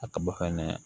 A ka bɔ fɛnɛ